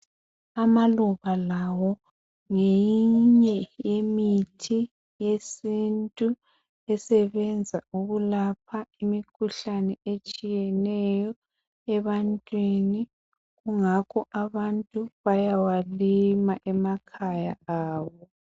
Amaluba lawo ngeminye yemithi yesintu esebenza ukulapha imkhuhlane etshiyeneyo ebantwini, kungakho abantu bayawalima emakhaya abo,.